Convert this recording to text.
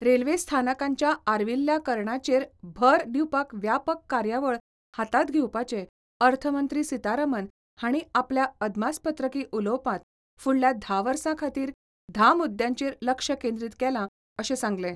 Railway स्थानकांच्या आर्विल्ल्या करणाचेर भर दिवपाक व्यापक कार्यावळ हातांत घेवपाचें अर्थमंत्री सितारमन हांणी आपल्या अदमासपत्रकी उलोवपांत फुडल्या धा वर्सां खातीर धा मुद्यांचेर लक्ष केंद्रीत केलां, अशें सांगलें.